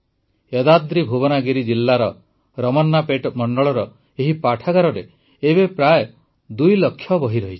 ୟଦାଦ୍ରିଭୁବନାଗିରି ଜିଲ୍ଲାର ରମନ୍ନାପେଟ୍ ମଣ୍ଡଳର ଏହି ପାଠାଗାରରେ ଏବେ ପ୍ରାୟଃ ଦୁଇ ଲକ୍ଷ ବହି ରହିଛି